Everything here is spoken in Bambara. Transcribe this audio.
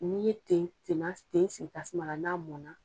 N'i ye ten, tenna , ten sigi tasuma na, n'a mɔna